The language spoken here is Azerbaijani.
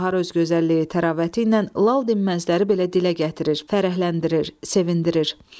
Bahar öz gözəlliyi, təravəti ilə lal dinməzləri belə dilə gətirir, fərəhləndirir, sevindirir.